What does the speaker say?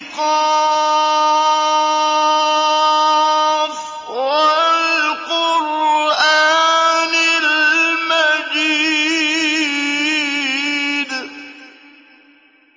ق ۚ وَالْقُرْآنِ الْمَجِيدِ